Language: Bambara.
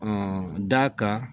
d'a kan